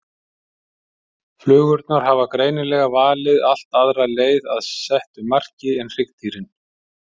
Flugurnar hafa greinilega valið allt aðra leið að settu marki en hryggdýrin.